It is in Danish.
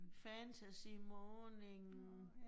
Fantasy morning